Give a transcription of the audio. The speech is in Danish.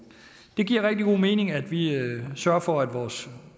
det giver rigtig god mening at vi sørger for at vores